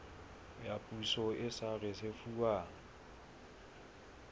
ya poso e sa risefuwang